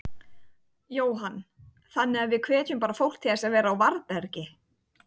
Jóhann: Þannig að við hvetjum bara fólk til þess að vera á varðbergi?